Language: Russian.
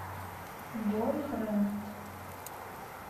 бойфренд